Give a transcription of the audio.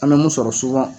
An bɛ mun sɔrɔ